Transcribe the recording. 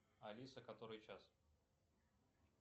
алиса который час